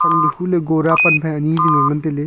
huley gora panphai ani jingley ngantailey.